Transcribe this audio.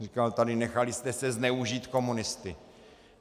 Říkal tady - nechali jste se zneužít komunisty.